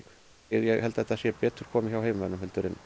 ég held að þetta sé betur komið hjá heimamönnum heldur